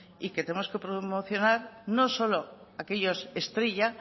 y que tenemos que promocionar no solo aquellos estrella